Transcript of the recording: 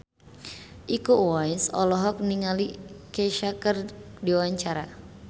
Iko Uwais olohok ningali Kesha keur diwawancara